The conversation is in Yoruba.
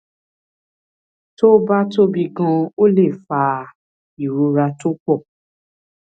tó bá tóbi ganan ó lè fa ìrora tó pọ